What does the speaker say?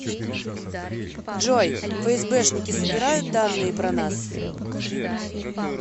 джой фсбшники собирают данные про нас